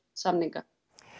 samninga